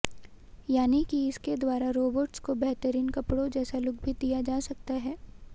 यानि कि इसके द्वारा रोबोट्स को बेहतरीन कपड़ों जैसा लुक भी दिया जा सकता है